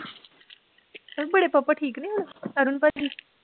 ਬੜੇ ਪਾਪਾ ਠੀਕ ਨੀ ਹੁਣ ਅਰੁਣ ਭਾਜੀ